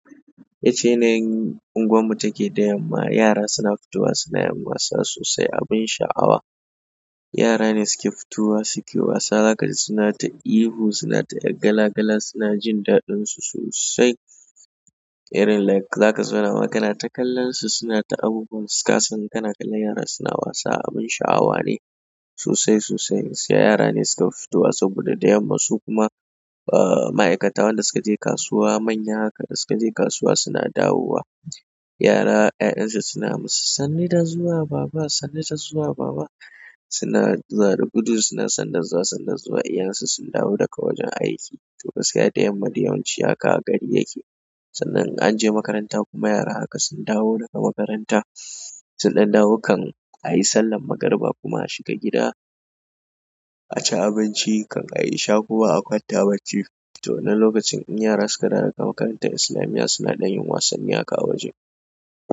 Yacca yanayin unguwar mu take da yamma yara suna fitowa suna yin wasa abun sha'awa yara ne suke fitowa suke wasa. Zakaji suna ta ihu, suna ta 'yar gala gala, suna jin daɗinsu sosai. Rin like za ka zauna ma kana ta kallon su suna ta abubuwan su ka san kana kallon yara suna wasa abin sha'awa ne sosai sosai. Sai yara ne suka fi fitowa saboda da yamma su kuma, ma'aikata wan da suka je kasuwa manya haka da suka je kasuwa suna dawowa. Yara 'ya'yan su suna masu "sannu da zuwa baba, sannu da zuwa baba". Suna zuwa da gudu suna sannu da zuwa sannu da zuwa, iyayen su sun dawo daga wajen aiki. To gaskiya da yamma dai yawanci haka gari yake. Sannan an je makaranta kuma yara haka sun dawo daga makaranta. Sun ɗan dawo kan a yi sallar magariba kuma a shiga gida. A ci abinci kan a yi isha kuma a kwanta bacci. To wannan lokacin in yara suka dawo daga makarantar islamiyya suna ɗan yin wasanni haka a waje.